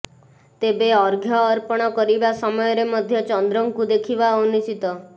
ତେବେ ଅର୍ଘ୍ୟ ଅର୍ପଣ କରିବା ସମୟରେ ମଧ୍ୟ ଚନ୍ଦ୍ରଙ୍କୁ ଦେଖିବା ଅନୁଚିତ